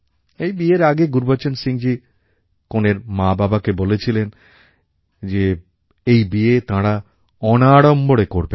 এই বিয়ের আগে গুরুবচন সিংজী কনের মাবাবাকে বলেছিলেন যে এই বিয়ে তাঁরা অনাড়ম্বরে করবেন